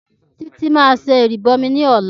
Títí máa ṣe ìrìbọmi ní ọ̀la